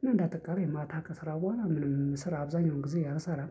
ግን እንደ አጠቃላይ ማታ ከስራ በኋላ ምንም ስራ አብዛኛውን ጊዜ አልሰራም